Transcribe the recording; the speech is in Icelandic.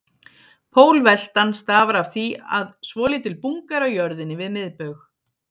Pólveltan stafar af því að svolítil bunga er á jörðinni við miðbaug.